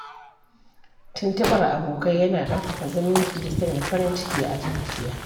Tuntuɓar abokai yana ƙarfafa zumunci da sanya farin ciki a zuciya.